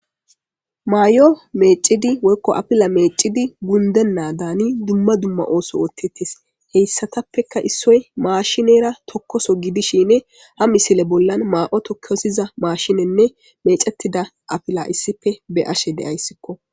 maay7o meecidi woykko apila meecidi gundennaa daani dumma dumma ooso oottettis heyssatappeka issoy maashinera tokkoso gidishine ha misile bollan maa7otokkosiza maashinenne mecetida apila issipe be ashe deayssikko